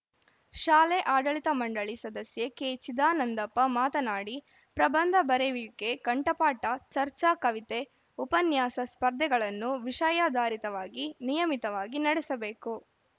ಶಾಲೆ ಆಡಳಿತ ಮಂಡಳಿ ಸದಸ್ಯೆ ಕೆಚಿದಾನಂದಪ್ಪ ಮಾತನಾಡಿ ಪ್ರಬಂಧ ಬರೆಯುವಿಕೆ ಕಂಠಪಾಠ ಚರ್ಚಾ ಕವಿತೆ ಉಪನ್ಯಾಸ ಸ್ಪರ್ಧೆಗಳನ್ನು ವಿಷಯಾಧಾರಿತವಾಗಿ ನಿಯಮಿತವಾಗಿ ನಡೆಸಬೇಕು